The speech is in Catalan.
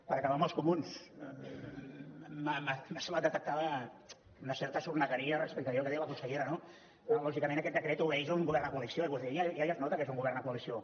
per acabar als comuns m’ha semblat detectar una certa sornegueria respecte a allò que ha dit la consellera no lògicament aquest decret obeeix a un govern de coalició i vostè deia ja es nota que és un govern de coalició